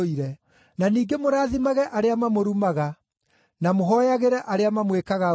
na ningĩ mũrathimage arĩa mamũrumaga, na mũhooyagĩre arĩa mamwĩkaga ũũru.